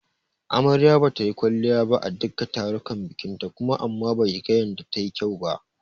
Amaryar bata yi kwalliya ba a duka tarukan bikinta kuma amma baki ga yanda ta yi kyau ba.